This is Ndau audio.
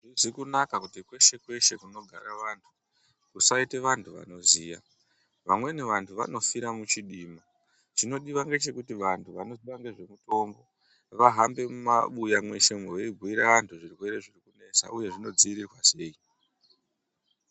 Hazvizi kunaka kuti kweshe kweshe kunogara antu kusaite vantu vanoziya, vamweni vantu vanofira muchidima. Chinodiwa ngechekuti vantu vanoziya nezve mitombo vahambe mumabuya mweshe umo veibhuyira vantu zvirwere zvinonesa uye zvinodzivirirwa sei .